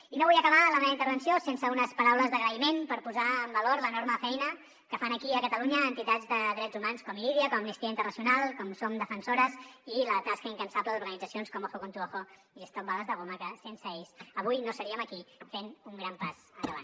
i no vull acabar la meva intervenció sense unes paraules d’agraïment per posar en valor l’enorme feina que fan aquí a catalunya entitats de drets humans com irídia com amnistia internacional com som defensores i la tasca incansable d’organitzacions com ojo con tu ojo i stop bales de goma que sense ells avui no seríem aquí fent un gran pas endavant